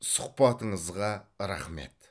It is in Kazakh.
сұхбатыңызға рақмет